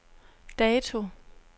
dato